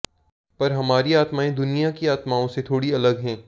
पर हमारी आत्माएं दुनिया की आत्माओं से थोड़ी अलग हैं